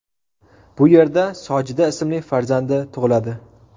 Bu yerda Sojida ismli farzandi tug‘iladi.